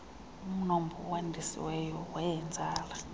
umnombo owandisiweyo weenzala